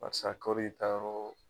Barisa kɔritayɔrɔ